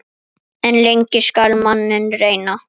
En lengi skal manninn reyna.